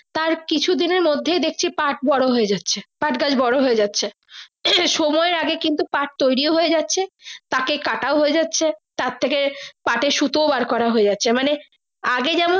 তার কিছু দিনের মর্ধে দেখছি পাঠ বড়ো হয়ে যাচ্ছে পাঠ গাছ বোরো হয়েযাচ্ছে সময় এর আগে কিন্তু পাঠ তৈরি হয়ে যাচ্ছে তাকে কাটাও হয়ে যাচ্ছে তারথেকে পাঠের সুতো ও বার করে হয়ে যাচ্ছে মানে আগে যেমন।